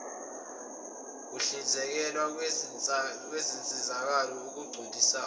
ukuhlinzekwa kwezinsizakalo okugculisayo